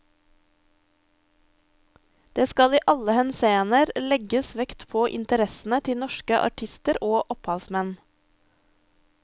Det skal i alle henseende legges vekt på interessene til norske artister og opphavsmenn.